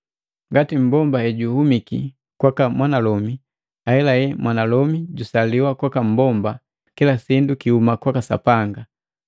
Ngati mmbomba hejuhumiki kwaka mwanalomi, ahela mwanalomi jusaliwa kwaka mmbomba, kila sindu kiuma kwaka Sapanga.